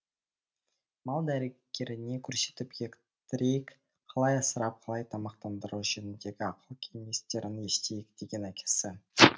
мал дәрігеріне көрсетіп ектірейік қалай асырап қалай тамақтандыру жөніндегі ақыл кеңестерін естиік деген әкесі